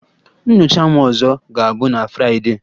Nyocha m ọzọ ga-abụ na Fraịdee